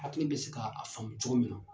Hakili bɛ se ka a faamu cogo min na